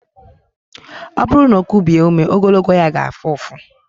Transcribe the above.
Ọ bụrụ na o kubie ume ogologo ya ga-afụ ụfụ.